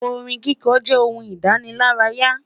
Orin kíkọ jẹ ohun idanilaraya